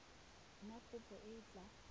na kopo e e tla